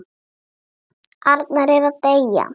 Arnar er að deyja.